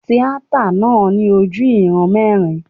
Tíátà náà ní ojú ìran mẹ́rin.